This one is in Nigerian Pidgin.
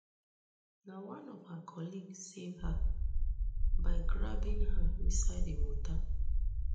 na one of her colleague save her by grabbing her inside di water